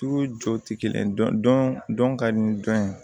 Tu jo tɛ kelen ye dɔn ka di dɔn ye